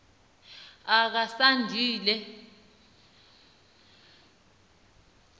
okasandile